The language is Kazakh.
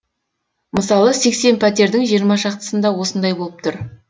мысалы сексен пәтердің жиырма шақтысында осындай болып тұр